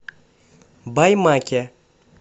баймаке